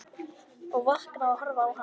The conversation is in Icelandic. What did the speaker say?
Og vakna og horfi á hana.